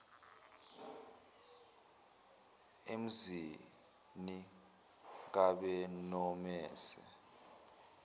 emzini kab nomese